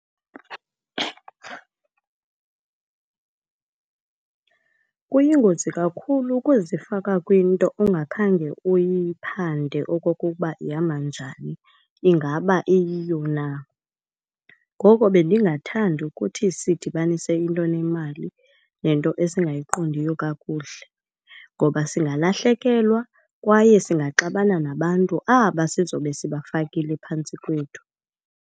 Kuyingozi kakhulu ukuzifaka kwinto ongakhange uyiphande okokuba ihamba njani, ingaba iyiyo na. Ngoko bendingathandi ukuthi sidibanise into enemali nento esingayiqondiyo kakuhle, ngoba singalahlekelwa kwaye singaxabana nabantu aba sizobe sibafakile phantsi kwethu.